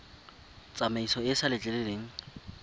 tsamaiso e e sa letleleleng